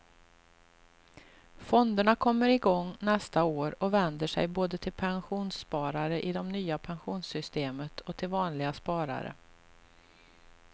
Fonderna kommer igång nästa år och vänder sig både till pensionssparare i det nya pensionssystemet och till vanliga sparare.